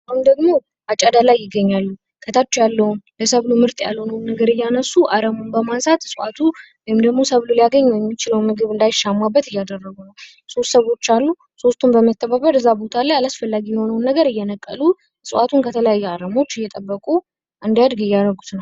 አሁን ደግሞ አጨዳ ላይ ይገኛሉ። ከታች ያላውን፣ ለሰብሉ ምርጥ ያልሆነውን ነገር እያነሱ አረሙን በማንሳት እጽዋቱ ወይም ደግሞ ሰብሎ ሊያገኝ የሚችለውን ምግብ እንዳያገኝ እናዳይሻማበት እያደረጉ ነው። ሶስት ሰዎች አሉ። ሶስቱም በመተባበር እዛ ቦታ አላስፈላጊ የሆነውን ነገር እየነቀሉ እጽዋቱን ከተለያዩ አረሞች እየጠበቁ እንዲያድግ እያደረጉት ነው።